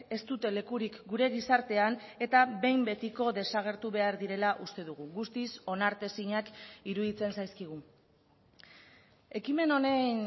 ez dute lekurik gure gizartean eta behin betiko desagertu behar direla uste dugu guztiz onartezinak iruditzen zaizkigu ekimen honen